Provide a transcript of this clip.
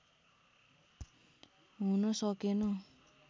हुन सकेन